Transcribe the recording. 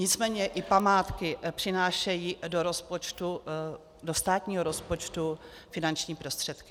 Nicméně i památky přinášejí do státního rozpočtu finanční prostředky.